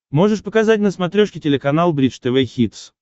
можешь показать на смотрешке телеканал бридж тв хитс